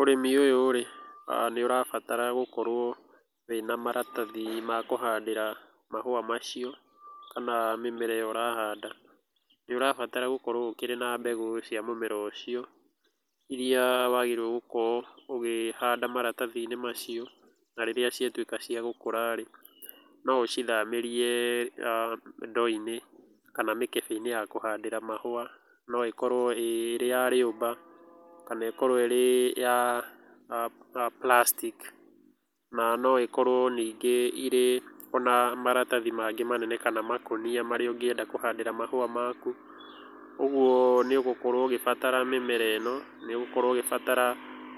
Ũrĩmi ũyũ rĩ, nĩ ũrabatara gũkorũo wĩna maratathi ma kũhandĩra mahũa macio kana mĩmera ĩyo ũrahanda. Nĩ ũrabatara gũkorũo ũkĩrĩ na mbegũ cia mũmera ũcio irĩa wagĩrĩirũo gũkorũo ũkĩhanda maratathi-inĩ macio. Na rĩrĩa ciatuĩka cia gũkũra rĩ, no ũcithamĩrie ndoo-inĩ kana mĩkebe-inĩ ya kũhandĩra mahũa. No ĩkorũo ĩĩ ya riũmba kana ĩkorũo ĩrĩ ya plastic, na no ikorũo ningĩ irĩ ona maratathi mangĩ manene kana makũnia marĩa ũngĩenda kũhandĩra mahũa maku. Ũguo nĩ ũgũkorũo ũgĩbatara mĩmera ĩno, nĩ ũgũkorũo ũgĩbatara